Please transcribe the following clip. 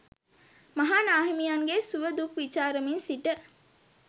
මහා නා හිමියන්ගේ සුව දුක් විචාරමින් සිට